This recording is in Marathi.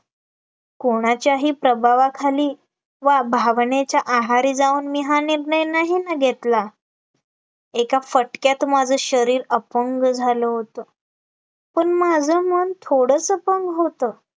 कोणाच्याही प्रभावाखाली वा भावनेच्या आहारी जाऊन मी हा निर्णय नाही ना घेतला, एका फटक्यात माझं शरीर अपंग झालं होतं, पण माझं मन थोडंच अपंग होतं